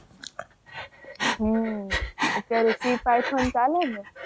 હમ અત્યારે C paython ચાલે ને.